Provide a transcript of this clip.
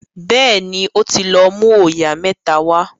béèni o tí lọ mú oyà mẹ́ta wá